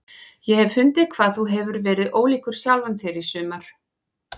Ég hef fundið hvað þú hefur verið ólíkur sjálfum þér í sumar.